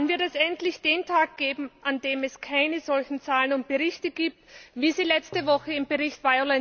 Wann wird es endlich den Tag geben, an dem es keine solchen Zahlen und Berichte gibt wie letzte Woche den Bericht